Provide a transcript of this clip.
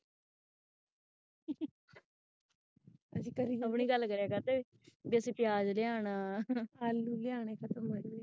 ਆਪਣੀ ਗੱਲ ਕਰਿਆ ਕਰਦੇੇ ਜੈਸੇ ਪਿਆਜ ਲਿਆਣਾ